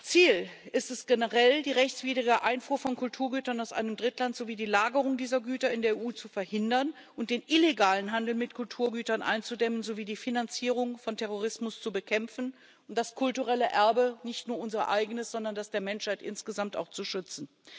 Ziel ist es generell, die rechtswidrige Einfuhr von Kulturgütern aus einem Drittland sowie die Lagerung dieser Güter in der EU zu verhindern und den illegalen Handel mit Kulturgütern einzudämmen sowie die Finanzierung von Terrorismus zu bekämpfen und das kulturelle Erbe nicht nur unser eigenes, sondern das der Menschheit insgesamt auch zu schützen.